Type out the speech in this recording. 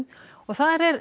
og þar er